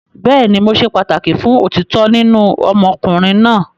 Bẹẹni, Mo ṣe pataki fun otitọ ninu ọmọkunrin naa